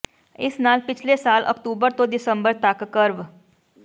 ਇਸ ਨਾਲ ਪਿਛਲੇ ਸਾਲ ਅਕਤੂਬਰ ਤੋਂ ਦਸੰਬਰ ਤਕ ਕਰਵ